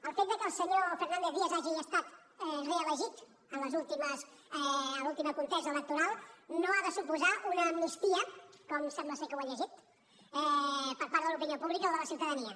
el fet que el senyor fernández díaz hagi estat reelegit en l’última contesa electoral no ha de suposar una amnistia com sembla que ho ha llegit per part de l’opinió pública o de la ciutadania